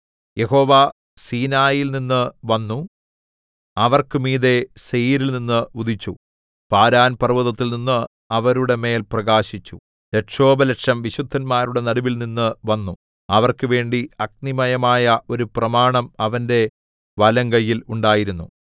യഹോവ സീനായിൽനിന്നു വന്നു അവർക്ക് മീതെ സേയീരിൽനിന്ന് ഉദിച്ചു പാരാൻ പർവ്വതത്തിൽനിന്ന് അവരുടെ മേൽ പ്രകാശിച്ചു ലക്ഷോപലക്ഷം വിശുദ്ധന്മാരുടെ നടുവിൽനിന്നു വന്നു അവർക്കുവേണ്ടി അഗ്നിമയമായ ഒരു പ്രമാണം അവന്റെ വലങ്കയ്യിൽ ഉണ്ടായിരുന്നു